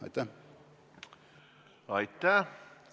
Aitäh!